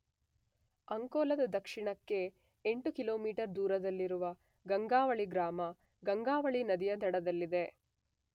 ಅಂಕೋಲದ ದಕಿಣಕ್ಕೆ 8 ಕಿಲೋಮೀಟರ್ ದೂರದಲ್ಲಿರುವ ಗಂಗಾವಳಿ ಗ್ರಾಮ ಗಂಗಾವಳಿ ನದಿಯ ದಡದಲ್ಲಿದೆ.